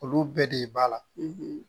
Olu bɛɛ de b'a la